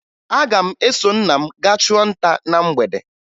Aga m eso nna m gaa chụọ nta na mgbede